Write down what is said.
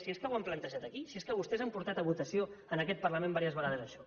si és que ho han plantejat aquí si és que vostès han portat a votació en aquest parlament diverses vegades això